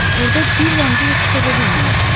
Burda bir damcı da su tapa bilməyəcəyik.